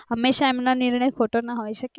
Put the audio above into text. હમેશા એમનો નિર્ણય ખોટો ના હોય શકે ને